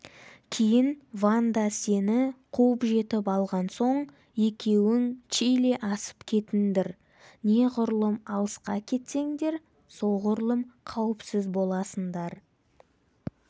кейін ванда сені қуып жетіп алған соң екеуің чили асып кетіндр неғұрлым алысқа кетсеңдер соғұрлым қауіпсіз боласындар